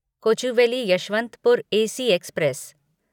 Kochuveli Yesvantpur AC express